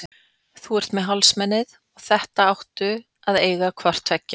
Þú ert með hálsmenið og þetta áttu að eiga hvort tveggja.